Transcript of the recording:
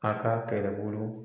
A ka kɛlɛbolo.